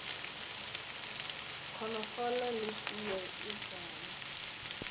konofolo le teye ye tala